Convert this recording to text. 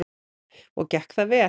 Og gekk það vel?